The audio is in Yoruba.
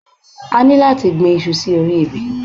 À ní láti gbi iṣu sí orí ebè